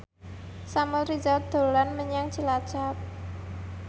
Samuel Rizal dolan menyang Cilacap